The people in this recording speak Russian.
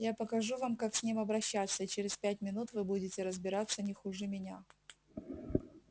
я покажу вам как с ним обращаться и через пять минут вы будете разбираться не хуже меня